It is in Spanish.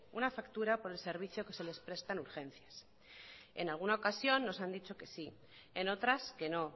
una factura por el servicio que se les presta en urgencias en alguna ocasión nos han dicho que sí en otras que no